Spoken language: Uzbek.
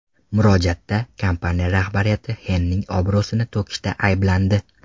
Murojaatda kompaniya rahbariyati Xenning obro‘sini to‘kishda ayblandi.